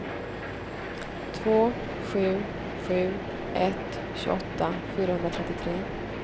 två sju sju ett tjugoåtta fyrahundratrettiotre